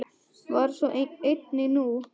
Var svo einnig nú.